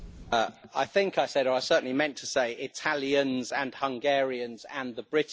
I think I said or I certainly meant to say Italians and Hungarians and the British.